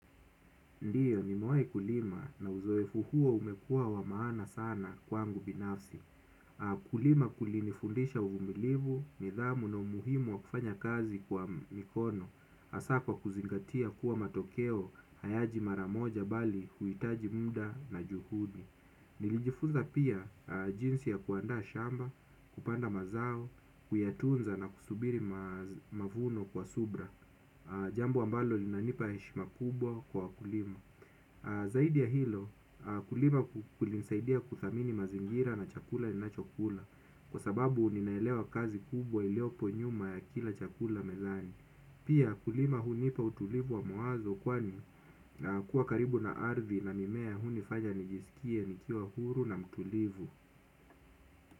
Ndiyo nimewahi kulima na uzoefu huo umekua wa maana sana kwangu binafsi. Kulima kulinifundisha uvumilivu, nidhamu na umuhimu wa kufanya kazi kwa mikono, hasa kwa kuzingatia kuwa matokeo, hayaji maramoja bali huhitaji muda na juhudi. Nilijifunza pia jinsi ya kuandaa shamba kupanda mazao kuyatunza na kusubiri mavuno kwa subira. Jambo ambalo linanipa heshima kubwa kwa wakulima. Zaidi ya hilo kulima kulinsaidia kuthamini mazingira na chakula ninachakula. Kwa sababu ninaelewa kazi kubwa iliopo nyuma ya kila chakula mezani. Pia kulima hunipa utulivu wa mwazo kwani kuwa karibu na ardhi na mimea hunifanya nijisikie nikiwa huru na mtulivu.